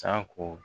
Sanko